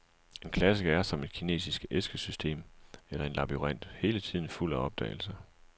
En klassiker er, som et kinesisk æskesystem eller en labyrint, hele tiden fuld af opdagelser.